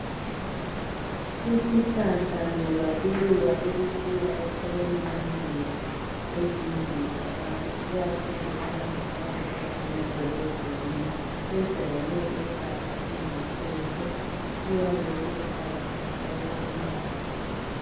Isihlahla loba iluba elikhula eceleni komduli . Ezindlini zabantu ikakhulu abantu abahlala emadolobheni .Sejayele ukulapha izikhwekhwe ,siyabe siluhlaza tshoko umbala waso.